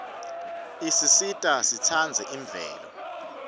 isisita sitsandze imvelo